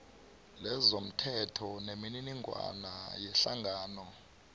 lezomthetho nemininingwana yehlangano